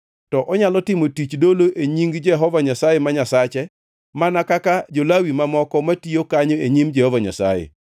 to onyalo timo tich dolo e nying Jehova Nyasaye ma Nyasache mana kaka jo-Lawi mamoko matiyo kanyo e nyim Jehova Nyasaye.